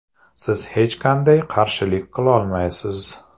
Siz hech qanday qarshilik qilolmaysiz.